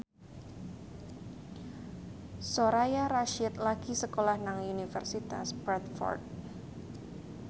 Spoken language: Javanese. Soraya Rasyid lagi sekolah nang Universitas Bradford